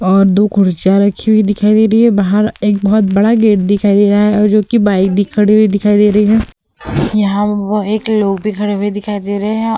और दो कुर्सियाँ रखी हुई दिखाई दे रही हैं बाहर एक बहोत बड़ा गेट दिखाई दे रहा है और जो कि बाइक भी खड़ी हुई दिखाई दे रही है यहाँ एक लोग भी खड़े हुए दिखाई दे रहे हैं।